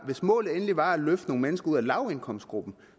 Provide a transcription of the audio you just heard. hvis målet endelig var at løfte nogle mennesker ud af lavindkomstgruppen